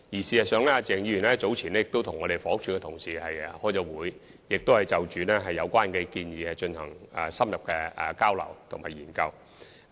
事實上，鄭議員早前已曾與房屋署的同事開會，就有關建議進行深入的交流和研究。